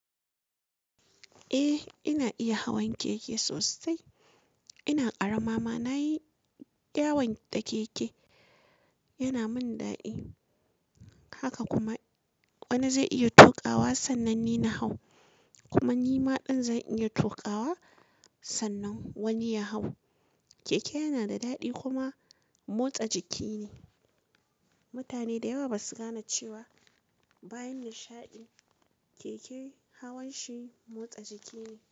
Eh ina iya hawan keke sosai. Ina karama ma nayi yawon da keke, yana min daɗi. Haka kuma wani zai iya tokawa sannan ni na hau kuma ni ma ɗin zan iya tokawa sannan wani ya hau. Keke yana da daɗi kuma motsa jiki ne. Mutane da yawa basu gane cewa bayan nishaɗi, keke hawan shi motsa jiki ne.